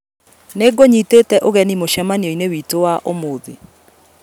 Nĩngũnyitĩte ũgeni mũcemanioinĩ witũwa ũmũthĩ